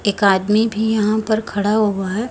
एक आदमी भी यहाॅं पर खड़ा हुआ हैं।